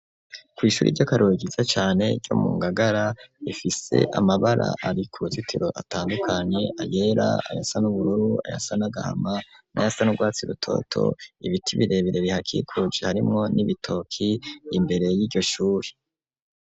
Kw'ishuri ry'akarorero ryiza cane ryo mu Ngagara, rifise amabara ari ku ruzitiro atandukanye, ayera, ayasa n'ubururu, ayasa n'agahama n'ayasa n'urwatsi rutoto, ibiti birebere bihakikuje harimwo n'ibitoki, imbere y'iryo shuri.